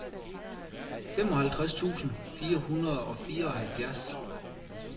femoghalvtreds tusind fire hundrede og fireoghalvfjerds